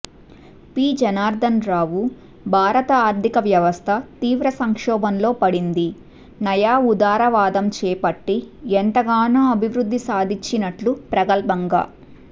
పిజనార్దనరావు భారత ఆర్థిక వ్యవస్థ తీవ్ర సంక్షోభంలో పడింది నయా ఉదారవాదం చేపట్టి ఎంతగానో అభివృద్ధి సాధించినట్లు ప్రగల్భంగా